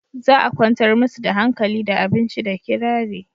za a kwantar musu da hankali da abinci da kirari